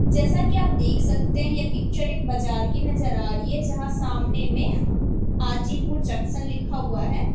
जैसा कि आप देख सकते हैं यह पिक्चर एक बाजार की नजर आ रही है जहां सामने में हाजीपुर जंक्शन लिखा हुआ है।